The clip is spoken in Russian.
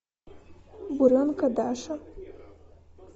буренка даша